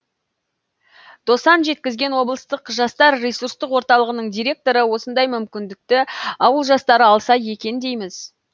досан жеткізген облыстық жастар ресурстық орталығының директоры осындай мүмкіндікті ауыл жастары алса екен дейміз